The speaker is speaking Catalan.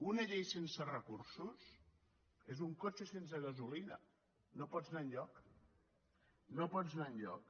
una llei sense recursos és un cotxe sense gasolina no pots anar enlloc no pots anar enlloc